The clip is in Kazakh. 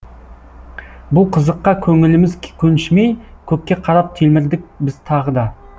бұл қызыққа көңіліміз көншімей көкке қарап телмірдік біз тағы да